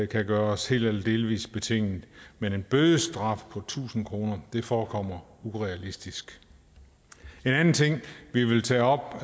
kan gøres helt eller delvis betinget men en bødestraf på tusind kroner forekommer urealistisk en anden ting vi vil tage op